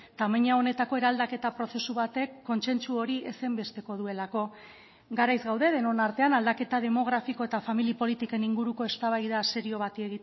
tamaina honetako eraldaketa prozesu batek kontsentsu hori ezinbesteko duelako garaiz gaude denon artean aldaketa demografiko eta familia politiken inguruko eztabaida serio bati